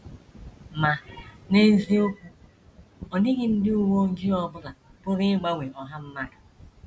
Ma n’eziokwu, ọ dịghị ndị uwe ojii ọ bụla pụrụ ịgbanwe ọha mmadụ.